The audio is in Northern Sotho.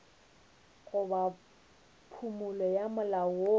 goba phumolo ya molao woo